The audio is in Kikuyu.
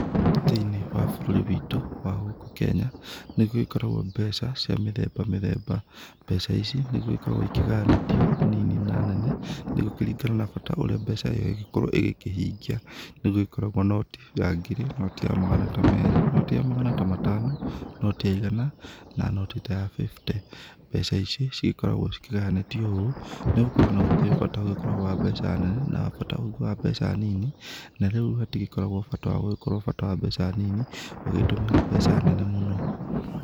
Thĩ-inĩ wa bũrũri witũ wa gũkũ kenya nĩ gũgĩkoragwo mbeca cia mĩthemba mĩthemba, mbeca ici nĩ gũgĩkoragwo igĩkĩgayanĩtwo nini na nene nĩ gũkĩringana na bata ũrĩa mbeca ĩyo ĩngĩkorwo ĩkĩhingia, nĩ gũgĩkoragwo noti ya ngiri noti ya magana ta merĩ, noti ta ya magana matano noti ya igana na noti ta ya bĩbũte, mbeca ici cigĩkoragwo cikĩgayanĩtwo ũũ nĩgũgĩkorwo nĩ gũkĩrĩ bata ũgĩkoragwo wa mbeca nene na bata ũngĩ wa mbeca nini na rĩu hatigĩkoragwo bata wagũgĩkorwo bata wa mbeca nini ũgĩtũmĩra mbeca nene mũno.